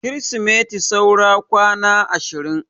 Kirismas saura kwana ashirin